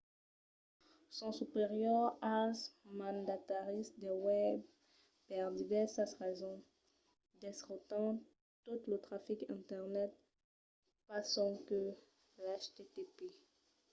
son superiors als mandataris de webs per divèrsas rasons. desrotan tot lo trafic internet pas sonque l'http